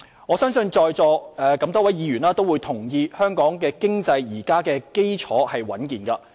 我相信在座多位議員都同意，香港經濟基礎現時十分穩健。